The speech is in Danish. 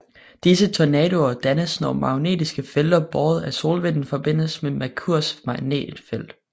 Disse tornadoer dannes når magnetiske felter båret af solvinden forbindes med Merkurs magnetfelt